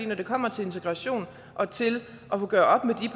når det kommer til integration og til at gøre op med